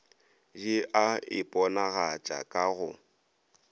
di a iponagatša ka go